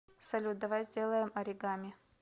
салют давай сделаем оригами